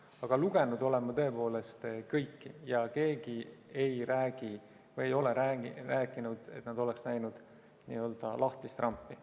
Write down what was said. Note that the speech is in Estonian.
Aga lugenud olen ma tõepoolest kõiki tunnistusi ja keegi ei ole rääkinud, et ta oleksid näinud lahtist rampi.